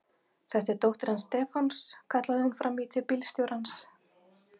Þetta er dóttir hans Stefáns! kallaði hún fram í til bílstjórans.